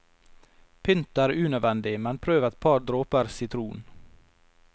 Pynt er unødvendig, men prøv et par dråper sitron.